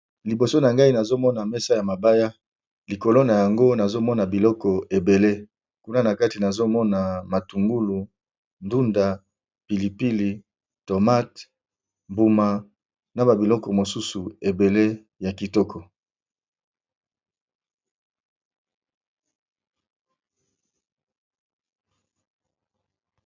liboso na ngai nazomona mesa ya mabaya likolo na yango nazomona biloko ebele kuna na kati nazomona matungulu ndunda pilipili tomate mbuma na babiloko mosusu ebele ya kitoko